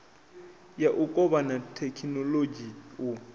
ya u kovhana thekhinolodzhi u